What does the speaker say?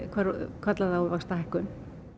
kallað á vaxtahækkun